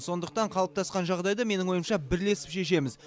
сондықтан қалыптасқан жағдайды менің ойымша бірлесіп шешеміз